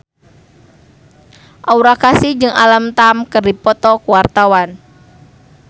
Aura Kasih jeung Alam Tam keur dipoto ku wartawan